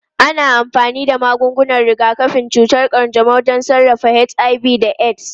Ana amfani da magungunan rigakafin cutar kanjamau don sarrafa HIV/AIDS.